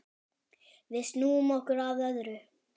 Við snúum okkur að öðru.